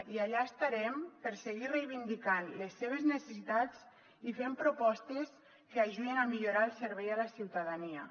i allà estarem per seguir reivindicant les seves necessitats i fent propostes que ajudin a millorar el servei a la ciutadania